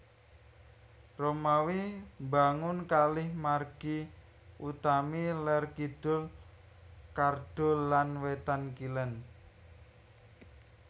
Romawi mbangun kalih margi utami lèr kidul Cardo lan wétan kilèn